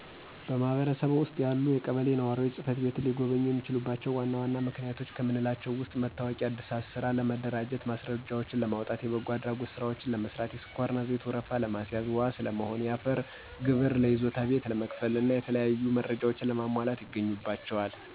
በማህበረሰብዎ ውስጥ ያሉ ነዋሪዎች ቀበሌ ጽ/ቤትን ሊጎበኙ የሚችሉባቸው ዋና ዋና ምክንያቶች ከምንላቸው ውስጥ የመታወቂያ ዕድሳት፣ ስራ ለመደራጀት ማስረጃዎችን ለማውጣት፣ የበጎ አድራጎት ስራዎችን ለመስራት፣ የስኳርና ዘይት ወረፋ ለመያዝ፣ ዋስ ለመሆን፣ የአፈር ግብር ለይዞታ ቤት ለመክፈል እና የተለያዩ መረጃዎች ለማሟላት ይጎበኟቸዋል።